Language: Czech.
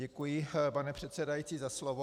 Děkuji, pane předsedající, za slovo.